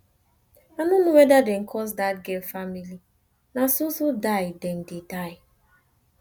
i no know whether dem curse dat girl family na so so die dem dey die